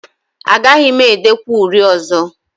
Agaghị m edekwa uri ọzọ